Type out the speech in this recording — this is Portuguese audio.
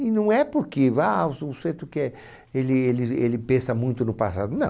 E não é porque ah o sujeito quer ele ele ele pensa muito no passado, não.